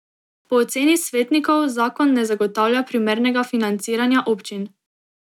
Po oceni svetnikov zakon ne zagotavlja primernega financiranja občin.